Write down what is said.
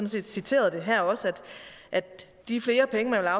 set citeret det her også at de flere penge man